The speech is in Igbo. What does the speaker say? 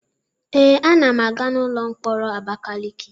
Ee, a na m aga n'ụlọ mkpọrọ Abakiliki.